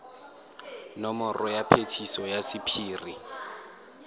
nomoro ya phetiso ya sephiri